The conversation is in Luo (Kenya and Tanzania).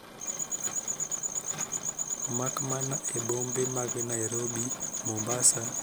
Makmana e bombe mag Nairobi. Mombasa. kod Kisumu.